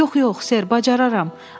Yox, yox, Sir, bacararam.